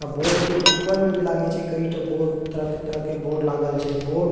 अ board के ऊपर में भी लागए छे कईटो बोर्ड तरह-तरह के बोर्ड लागल छे बोर्ड --